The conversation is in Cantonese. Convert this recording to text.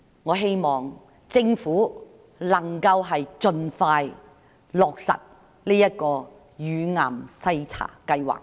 我希望政府能夠盡快落實乳癌篩查計劃。